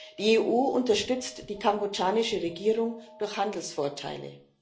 Die EU unterstützt die kambodschanische Regierung durch Handelsvorteile.